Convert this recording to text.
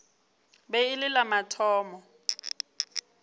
be e le la mathomo